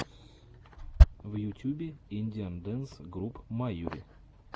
в ютюбе индиан дэнс груп майури